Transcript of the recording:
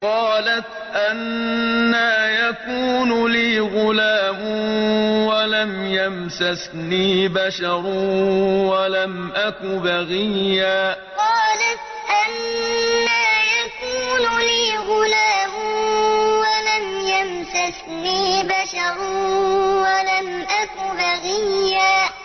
قَالَتْ أَنَّىٰ يَكُونُ لِي غُلَامٌ وَلَمْ يَمْسَسْنِي بَشَرٌ وَلَمْ أَكُ بَغِيًّا قَالَتْ أَنَّىٰ يَكُونُ لِي غُلَامٌ وَلَمْ يَمْسَسْنِي بَشَرٌ وَلَمْ أَكُ بَغِيًّا